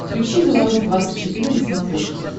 включи беларусь двадцать четыре на смотрешке